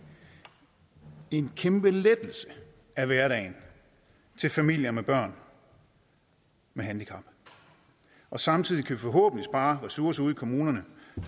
en kæmpe lettelse af hverdagen til familier med børn med handicap og samtidig kan vi forhåbentlig spare ressourcer ude kommunerne